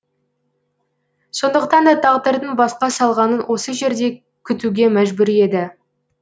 сондықтан да тағдырдың басқа салғанын осы жерде күтуге мәжбүр еді